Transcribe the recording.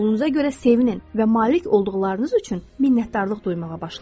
Pulunuza görə sevinin və malik olduqlarınız üçün minnətdarlıq duymağa başlayın.